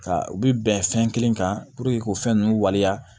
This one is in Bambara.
Ka u bi bɛn fɛn kelen kan k'o fɛn nunnu waleya